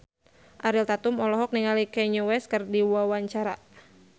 Ariel Tatum olohok ningali Kanye West keur diwawancara